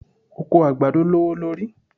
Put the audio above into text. Oko àgbàdo lówó lórí.